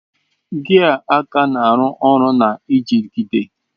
Gia aka na-arụ ọrụ na njigide.